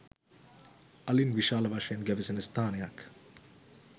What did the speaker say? අලින් විශාල වශයෙන් ගැවසෙන ස්ථානයක්.